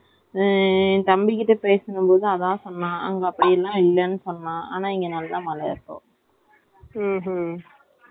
அப்படினு பார்த்தா குழந்தை கைல எல்லாரும் தூக்குறாங்க, கை, கால் வலிக்கும் ஒடம்புக்காவது, ஒன்னும் பிரச்சனை இல்ல ஒன்னும் ஆகாது.